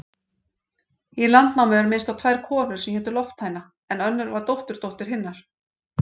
Í Landnámu er minnst á tvær konur sem hétu Lofthæna, en önnur var dótturdóttir hinnar.